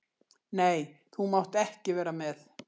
Nei, þú mátt ekki vera með.